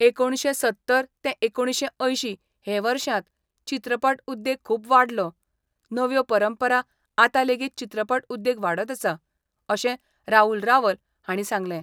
एकुणशे सत्तर ते एकुणशे अंयशीं हे वर्षांत चित्रपट उद्येग खुब वाडलो, नव्यो परंपरा आता लेगीत चित्रपट उद्येग वाडत आसा, अशें राहुल रावल हांणी सांगलें.